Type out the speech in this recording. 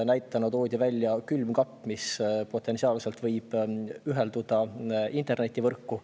Näiteks toodi külmkapp, mis potentsiaalselt võib ühenduda internetivõrku.